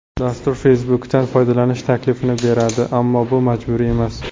Dastur Facebook’dan foydalanish taklifini beradi, ammo bu majburiy emas.